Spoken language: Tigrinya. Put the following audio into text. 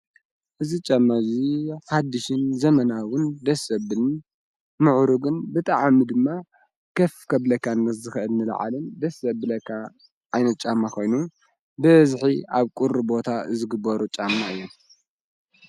እዝ ጨመእዙይ ሓድሽን ዘመናዉን ደስ ብልን ምዑሩግን ብጠዓሚ ድማ ከፍ ከብለካንስ ዘኽእድኒ ለዓልን ደስ ኣብለካ ኣይነጫማኾይኑ ብእዝኂ ኣብ ቁሪ ቦታ ዝግበሩ ጫማ እየም።